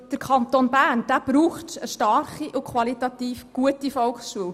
Der Kanton Bern braucht eine starke und qualitativ gute Volksschule.